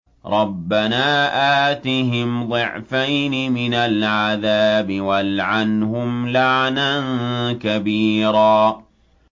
رَبَّنَا آتِهِمْ ضِعْفَيْنِ مِنَ الْعَذَابِ وَالْعَنْهُمْ لَعْنًا كَبِيرًا